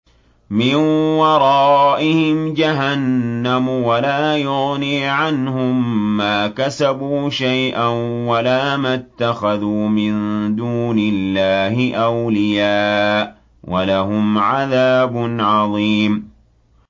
مِّن وَرَائِهِمْ جَهَنَّمُ ۖ وَلَا يُغْنِي عَنْهُم مَّا كَسَبُوا شَيْئًا وَلَا مَا اتَّخَذُوا مِن دُونِ اللَّهِ أَوْلِيَاءَ ۖ وَلَهُمْ عَذَابٌ عَظِيمٌ